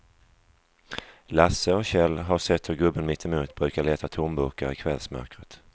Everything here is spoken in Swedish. Lasse och Kjell har sett hur gubben mittemot brukar leta tomburkar i kvällsmörkret.